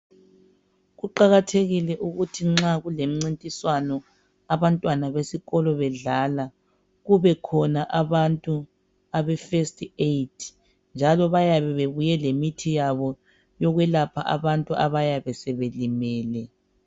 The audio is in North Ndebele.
Kuqakathekile ukuthi nxa kulemincintiswano abantwana besikolo bedlala kubekhona abantu abefirst Aid njalo bayabe bebuye lemithi yabo yokwelapha abantu abayabe sebelimele.